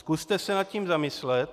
Zkuste se nad tím zamyslet.